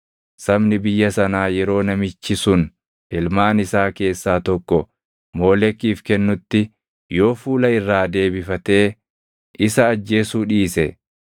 Sabni biyya sanaa yeroo namichi sun ilmaan isaa keessaa tokko Moolekiif kennutti yoo fuula irraa deebifatee isa ajjeesuu dhiise,